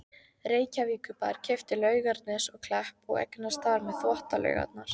Reykjavíkurbær keypti Laugarnes og Klepp og eignaðist þar með Þvottalaugarnar.